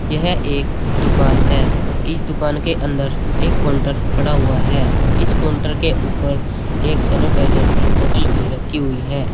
यह एक दुकान है इस दुकान के अंदर एक काउंटर पड़ा हुआ है इस काउंटर के ऊपर एक सैनिटाइजर की बॉटल भी रखी हुई है।